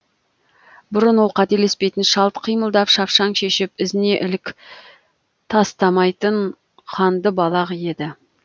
бұрын ол қателеспейтін шалт қимылдап шапшаң шешіп ізіне ілік тастамайтын қандыбалақ еді